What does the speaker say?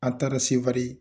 An taara Sevare.